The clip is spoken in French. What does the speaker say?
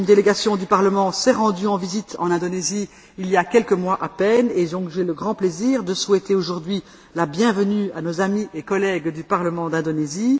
Une délégation du Parlement s'est rendue en visite en Indonésie il y a quelques mois à peine et j'ai donc le grand plaisir de souhaiter aujourd'hui la bienvenue à nos amis et collègues du parlement d'Indonésie.